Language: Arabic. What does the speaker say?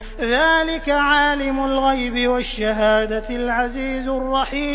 ذَٰلِكَ عَالِمُ الْغَيْبِ وَالشَّهَادَةِ الْعَزِيزُ الرَّحِيمُ